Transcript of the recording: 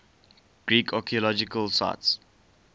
greek archaeological sites